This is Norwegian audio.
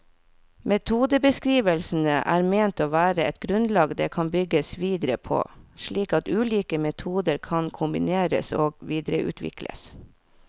Metodebeskrivelsene er ment å være et grunnlag det kan bygges videre på, slik at ulike metoder kan kombineres og videreutvikles.